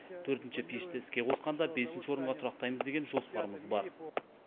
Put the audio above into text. төртінші пешті іске қосқанда бесінші орынға тұрақтаймыз деген жоспарымыз бар